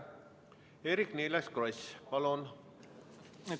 Eerik-Niiles Kross, palun!